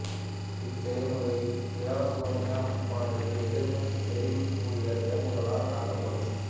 இச்செயன்முறையில் ஈரசோனிய உப்பானது எதிர்மின்னிச் செறிவு கூடிய சேர்மங்களால் தாக்கப்படும்